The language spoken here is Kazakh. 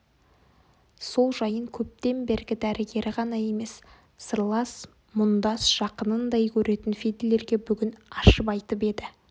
сол жайын көптен бергі дәрігері ғана емес сырлас мұндас жақынындай көретін фидлерге бүгін ашып айтып еді